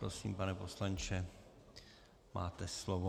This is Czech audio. Prosím, pane poslanče, máte slovo.